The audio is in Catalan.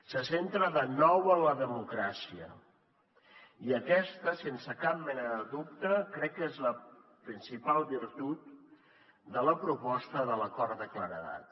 se centra de nou en la democràcia i aquesta sense cap mena de dubte crec que és la principal virtut de la proposta de l’acord de claredat